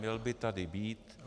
Měl by tady být.